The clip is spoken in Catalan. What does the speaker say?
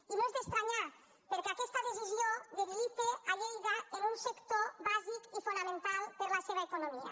i no és d’estranyar perquè aquesta decisió debilita lleida en un sector bàsic i fonamental per a la seva economia